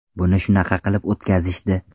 Buni shunaqa qilib o‘tkazishdi.